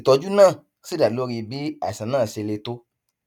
ìtọjú náà sì dá lórí bí àìsàn náà ṣe le tó